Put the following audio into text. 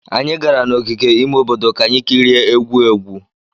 Anyị gara n'ogige ime obodo ka anyị kirie egwu egwu.